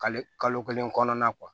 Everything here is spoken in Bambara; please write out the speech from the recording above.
Kale kalo kelen kɔnɔna